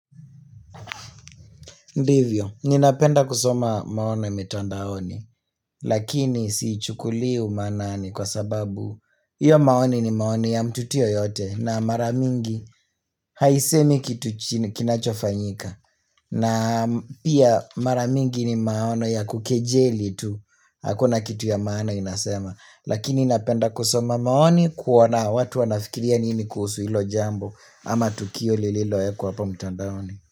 Ndivyo, ninapenda kusoma maono ya mitandaoni, lakini sichhukuli umanani kwa sababu Iyo maoni ni maoni ya mtu tu yoyote na mara mingi haisemi kitu kinachofanyika na pia mara mingi ni maono ya kukejeli tu, hakuna kitu ya maana inasema Lakini napenda kusoma maoni kuona watu wanafikiria nini kuhuu ilo jambo ama tukio lililoekwa apo mitandaoni.